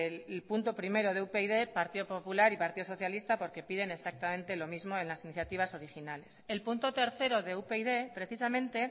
el punto primero de upyd partido popular y partido socialista porque piden exactamente lo mismo en las iniciativas originales el punto tercero de upyd precisamente